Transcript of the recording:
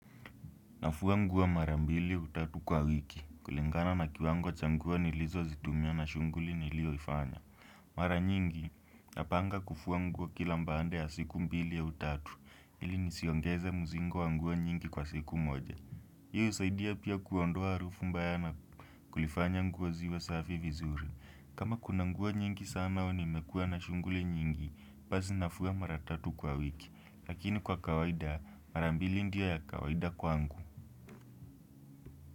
Nafua nguo mara mbili au tatu kwa wiki, kulingana na kiwango cha nguo nilizozitumia na shughuli nilioifanya. Mara nyingi, napanga kufua nguo kila baada ya siku mbili au tatu, ili nisiongeze mzigo wa nguo nyingi kwa siku moja. Hii husaidia pia kuondoa harufu mbaya na kulifanya nguo ziwe safi vizuri. Kama kuna nguo nyingi sana au nimekuwa na shughuli nyingi, basi nafua mara tatu kwa wiki. Lakini kwa kawaida, mara mbili ndio ya kawaida kwangu.